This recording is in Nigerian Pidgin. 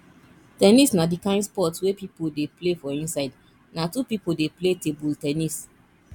ten nis na di kind sport wey pipo dey play for inside na two pipo dey play table ten nis